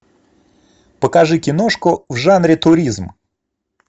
покажи киношку в жанре туризм